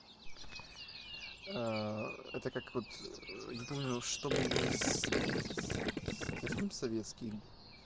это как вот не помню что был это фильм советский